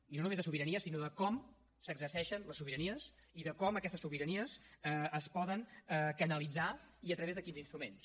i no només de sobiranies sinó de com s’exerceixen les sobiranies i de com aquestes sobiranies es poden canalitzar i a través de quins instruments